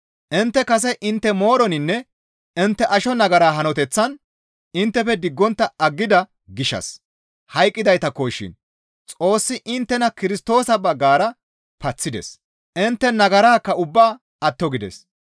Intte kase intte mooroninne intte asho nagara hanoteththaa inttefe diggontta aggida gishshas hayqqidaytakko shin Xoossi inttena Kirstoosa baggara paththides; intte nagaraakka ubbaa atto gides.